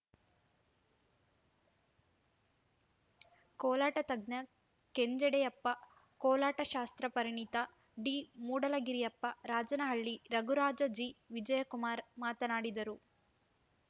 ಕೋಲಾಟ ತಜ್ಞ ಕೆಂಜೆಡೆಯಪ್ಪ ಕೋಲಾಟ ಶಾಸ್ತ್ರ ಪರಿಣಿತ ಡಿಮೂಡಲಗಿರಿಯಪ್ಪ ರಾಜನಹಳ್ಳಿ ರಘುರಾಜ ಜಿ ವಿಜಯಕುಮಾರ ಮಾತನಾಡಿದರು